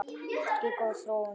Þetta er ekki góð þróun.